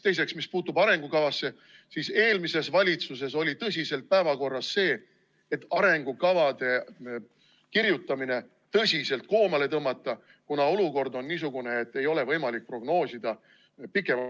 Teiseks, mis puutub arengukavasse, siis eelmises valitsuses oli päevakorral see, et arengukavade kirjutamine tuleks tõsiselt koomale tõmmata, kuna olukord on niisugune, et ei ole võimalik prognoosida pikema ...